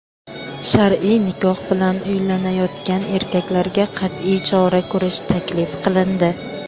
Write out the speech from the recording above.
shar’iy nikoh bilan uylanayotgan erkaklarga qat’iy chora ko‘rish taklif qilindi.